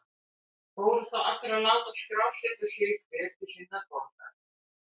Fóru þá allir til að láta skrásetja sig, hver til sinnar borgar.